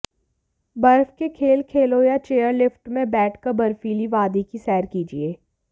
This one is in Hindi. बर्फ के खेल खेलो या चेयर लिफ्ट में बैठ कर बर्फीली वादी की सैर कीजिए